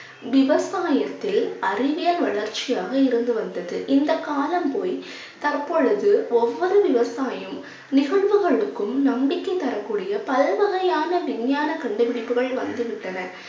விவசாயத்தில் அறிவியல் வளர்ச்சியாக இருந்து வந்தது. இந்த காலம் போய் தற்பொழுது ஒவ்வொரு விவசாயும் நம்பிக்கை தரக்கூடிய பல வகையான விஞ்ஞான கண்டுபிடிப்புகள் வந்துவிட்டன